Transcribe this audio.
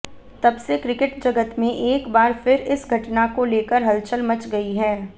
तबसे क्रिकेट जगत में एक बार फिर इस घटना को लेकर हलचल मच गई है